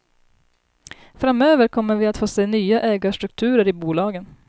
Framöver kommer vi att få se nya ägarstrukturer i bolagen.